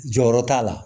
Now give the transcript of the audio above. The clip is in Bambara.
Jɔyɔrɔ t'a la